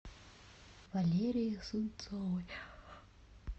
валерией сунцовой